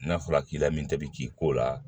N'a fɔra k'i la min ta bi k'i ko la